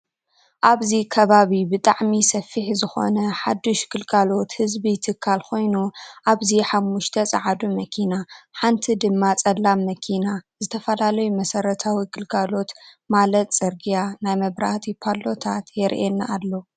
ኣበዚ ከባቢ ብጣዕሚ ሰፊሕ ዝኮነ ሓዱሽ ግልጋሎት ዝህብ ትካል ኮይኑ ኣብዚ ሓሙስተ ፃዕዱ መኪና ሓንቲ ድማ ፀላም መኪና ዝተፈላለዩ መሰረታዊ ግልጋሎት ማለት ዕርግያ ናይ መብራህቲ ፓሎታት የሪኣና ኣሎ።